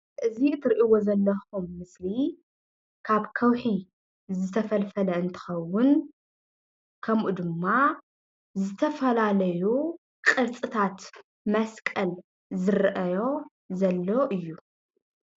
እዚ ትሪእዎ ዘለኩም ምስሊ ካብ ከውሒ ዝተፈልፈለ እንትከውን ከምኡ ድማ ዝተፈላለዩ ቅርፅታት መስቀል ዝረአዮ ዘሎ እዩ።